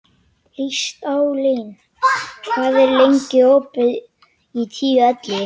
Listalín, hvað er lengi opið í Tíu ellefu?